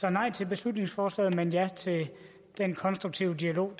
er nej til beslutningsforslaget men ja til den konstruktive dialog